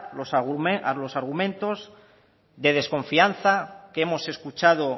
los argumentos de desconfianza que hemos escuchado